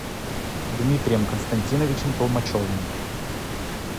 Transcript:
дмитрием константиновичем толмачевым